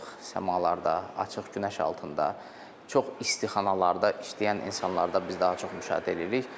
Açıq səmada, açıq günəş altında çox isti xanalarda işləyən insanlarda biz daha çox müşahidə eləyirik.